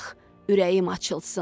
ürəyim açılsın.